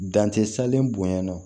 Dan tɛ salen bonya